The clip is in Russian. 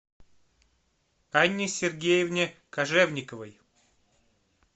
анне сергеевне кожевниковой